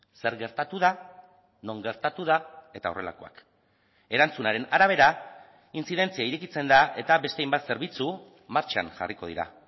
zer gertatu da non gertatu da eta horrelakoak erantzunaren arabera intzidentzia irekitzen da eta beste hainbat zerbitzu martxan jarriko dira